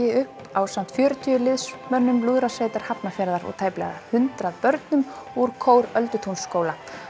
upp ásamt fjörutíu liðsmönnum lúðrasveitar Hafnarfjarðar og tæplega hundrað börnum úr kór Öldutúnsskóla